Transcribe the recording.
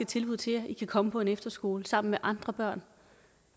tilbud til jer i kan komme på en efterskole sammen med andre børn